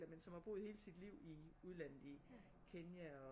Men har boet hele sit liv i udlandet i Kenya